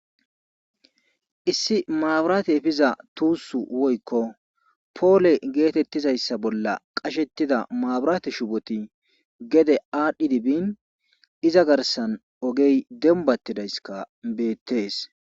Issi maaburaate efiza tuussu woykko poole geetettizayssa bolla qashetida maabiraate shuboti gede aadhdhi dibin iza garsan ogey dembattidayska beettees.